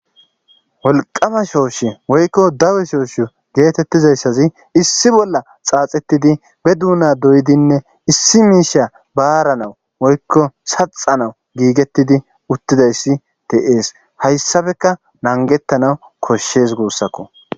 wolqama shooshi woykko dawe shooshi geetettizayssazi issi bolla xaaxetidi be duuna doyidinne issi miisha baaranawu woykko saxanawu giigettidi uttidayssi te7ees hayssabeka nangettanawu koshshes guussakko